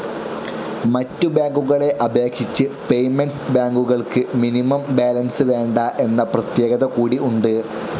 മറ്റ് ബാങ്കുകളെ അപേക്ഷിച്ച് പേയ്മെന്റ്സ്‌ ബാങ്കുകൾക്ക് മിനിമം ബാലൻസ്‌ വേണ്ട എന്ന പ്രത്യേക കൂടി ഉണ്ട്.